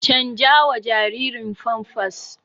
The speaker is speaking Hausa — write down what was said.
canjawa jaririn famfas